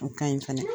O ka ɲi fɛnɛ